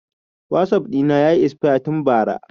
Wasap ɗina yayi esfaya tun ba ra